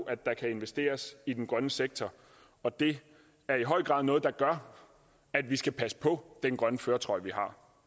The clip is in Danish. at der kan investeres i den grønne sektor og det er i høj grad noget der gør at vi skal passe på den grønne førertrøje vi har